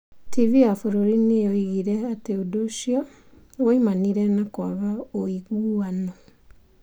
TV ya bũrũri nĩ yoigire atĩ ũndũ ũcio woimanire na kwaga ũiguano.